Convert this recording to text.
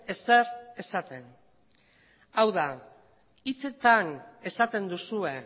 ezer esaten hau da hitzetan esaten duzue